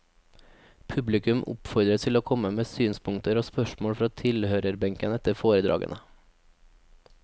Publikum oppfordres til å komme med synspunkter og spørsmål fra tilhørerbenken etter foredragene.